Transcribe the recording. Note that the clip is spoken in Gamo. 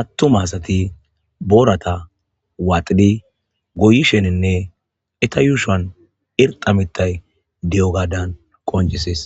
atumma asati borata gita denba gaden nam'u atumma asati boorata waxidi goyishenine eta ushuan irxxa mitay deiogadan qonchises.